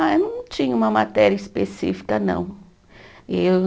Ah, eu não tinha uma matéria específica, não. Eu